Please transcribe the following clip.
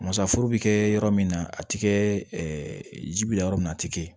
Masaforo bɛ kɛ yɔrɔ min na a ti kɛ ɛɛ ji bila yɔrɔ min na a ti kɛ